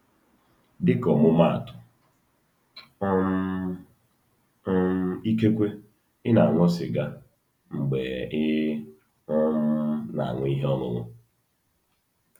Dịka ọmụmaatụ, um um ikekwe ị na-aṅụ sịga mgbe ị um na-aṅụ ihe ọṅụṅụ.